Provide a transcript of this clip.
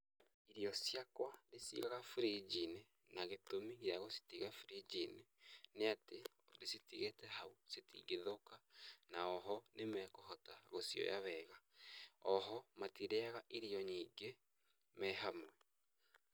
Ĩrĩo ciakwa ndĩciigaga fridge -inĩ, na gĩtũmi gĩa gũcitiga fridge -inĩ, nĩ atĩ ndĩcitigĩte hau, citingĩthũka na o ho nĩ mekũhota gũcioya o wega. O ho matirĩaga irio nyingĩ me hamwe.